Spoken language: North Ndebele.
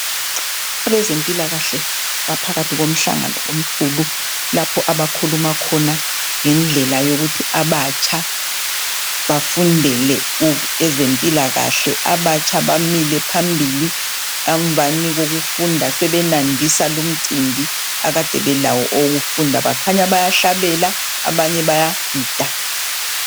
Abezempilakahle baphakathi komhlangano omkhulu lapho abakhuluma khona ngendlela yokuthi abatsha bafundele ezempilakahle. Abatsha bamile phambili emvana kokufunda sebenandisa lomcimbi Alade belawo owokufunda. bakhanya bayahlabela, bayagida.